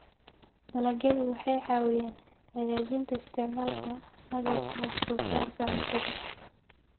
Dalagyadu waxay caawiyaan hagaajinta isticmaalka agabka wax soo saarka cuntada.